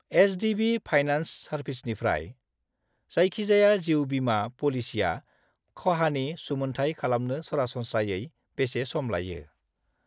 HDB. Finance सार्भिसेसनिफ्राय जायखिजाया जिउ बीमा प'लिसिया खहानि सुमोनथाइ खालामनो सरासनस्रायै बेसे सम लायो।